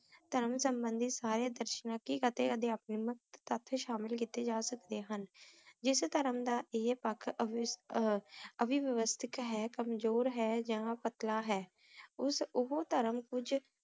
ਤਾਂ ਸੰਭੰਦਿਤ ਸਾਰੇ ਦਰਸ਼ਨਾਂ ਸ਼ਾਮਿਲ ਕਿਤੇ ਜਾ ਸਕਦੇ ਹਨ ਜਿਸ ਧਰਮ ਦਾ ਈਯ ਪਾਕ ਕਮਜ਼ੋਰ ਹੈ ਯਾਨ ਪਤਲਾ ਹੈ ਓਸ ਊ ਧਰਮ ਕੁਜ